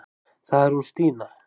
Það er hún Stína.